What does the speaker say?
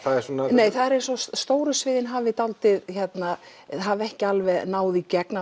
nei það er eins og að stóru sviðin hafi hafi ekki alveg náð í gegn